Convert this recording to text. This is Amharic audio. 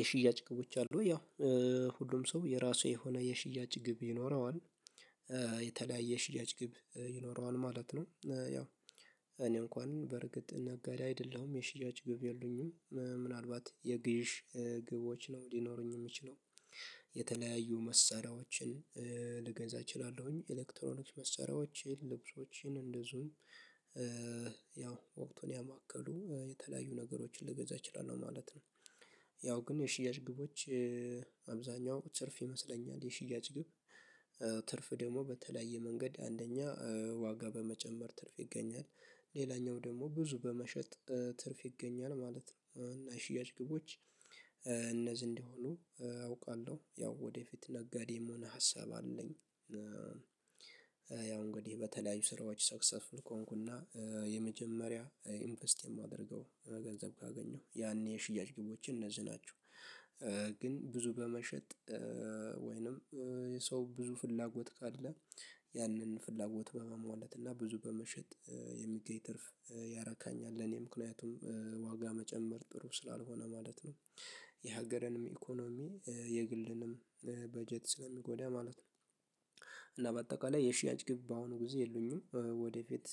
የሽያጭ ግብ አሉ? ያው ሁሉም ሰው የራሱ የሆነ የሽያጭ ግብ ይኖረዋል። የተለያየ ሽያጭ ግብ ይኖረዋል ማለት ነው። ያው እኔ እንኳን በርግጥ ነጋዴ አይደለሁም የሽያጭ ግብ የሉኝም። ምናልባት የግብ ግቦች ነው ሊኖረኝም ይችላል። የተለያዩ መሳሪያዎችን ልገዛ እችላለሁኝ ኤሌክትሮኒክስ መሳሪያዎችን ልብሶችን እንደዙም። ያው ወቅቱን ያማከሉ የተለያዩ ነገሮችን ልገዛ እችላለሁ ማለት ነው። ያው ግን የሽያጭ ግቦች አብዛኛው ቁጭ ትርፍ ይመስለኛል። የሽያጭ ግብ ትርፍ ደግሞ በተለያየ መንገድ አንደኛ ዋጋ በመጨመር ትርፍ ይገኛል። ሌላኛው ደግሞ ብዙ በመሸጥ ትርፍ ይገኛል ማለት ነው። እና ሽያጭ ግቦች እነዚህ እንደሆኑ አውቃለሁ። ያው ወደፊት ነጋዴም የመሆን ሀሳብ አለኝ። ያው እንግዲህ በተለያዩ ስራዎች ሰሰስፉል ከሆንኩና የመጀመሪያ ኢንቨስት የማደርገው ገንዘብ ካገኘሁ ያኔ የሽያጭ ግቦችን እነዚህ ግን ብዙ በመሸጥ ወይንም የሰው ብዙ ፍላጎት ካለ ያንን ፍላጎት በመሟላት እና ብዙ በመሸጥ የሚገኝ ትርፍ ያረካኛል። ለኔ ምክንያቱም ዋጋ መጨመር ጥሩ ስላልሆነ ማለት ነው። የሀገርንም ኢኮኖሚ የግልንም በጀት ስለሚጎዳ ማለት ነው። እና በአጠቃላይ የሽያጭ ግብ በአሁኑ ጊዜ የሉኝም ወደፊት